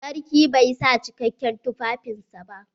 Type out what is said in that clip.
Sarki bai sa cikakken tufafin sa ba.